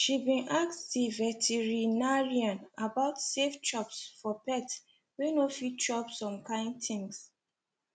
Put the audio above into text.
she been ask the veterinarian about safe chops for pet wey not fit chop some kind things